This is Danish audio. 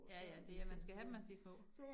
Ja ja, det er man skal have dem, mens de små